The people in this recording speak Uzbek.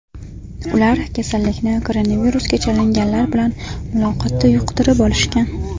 Ular kasallikni koronavirusga chalinganlar bilan muloqotda yuqtirib olishgan.